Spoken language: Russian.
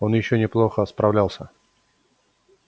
он ещё неплохо справлялся